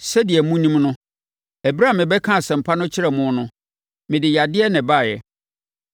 Sɛdeɛ monim no, ɛberɛ a mebɛkaa Asɛmpa no kyerɛɛ mo no, mede yadeɛ na ɛbaeɛ.